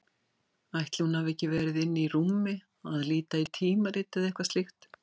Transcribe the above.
Ætli hún hafi ekki verið inni í rúmi að líta í tímarit eða eitthvað slíkt.